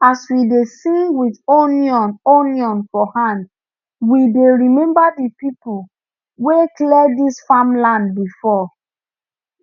as we dey sing with onion onion for hand we dey remember the people wey clear this farmland before